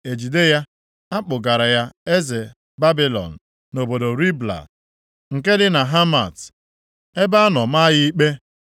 e jide ya. Ha kpụgara ya eze Babilọn, nʼobodo Ribla, nke dị nʼala Hamat, ebe a nọ maa ya ikpe.